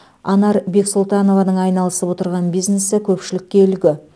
анар бексұлтанованың айналысып отырған бизнесі көпшілікке үлгі